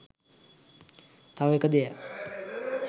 තව එක දෙයක්